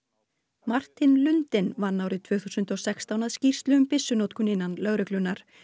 Martin lundin vann árið tvö þúsund og sextán að skýrslu um byssunotkun innan lögreglunnar